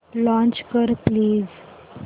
launch कर please